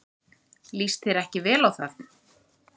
Líst þér ekki vel á það?